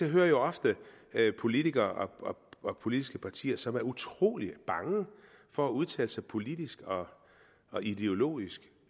hører jo ofte politikere og politiske partier som er utrolig bange for at udtale sig politisk og ideologisk